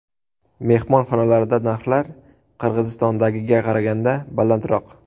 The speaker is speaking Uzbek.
Mehmonxonalarda narxlar Qirg‘izistondagiga qaraganda balandroq.